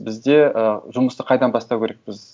бізде ы жұмысты қайдан бастау керекпіз